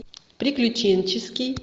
приключенческий